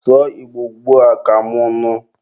sụọ Igbo ugbua ka mụ nụ!